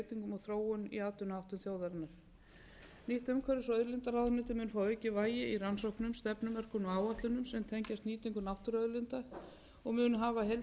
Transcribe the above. þróun í atvinnuháttum þjóðarinnar nýtt umhverfis og auðlindaráðuneyti mun þannig fá aukið vægi í rannsóknum stefnumörkun og áætlunum sem tengjast nýtingu náttúruauðlinda og mun hafa heildstætt yfirlit yfir